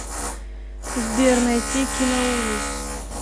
сбер найти киноужас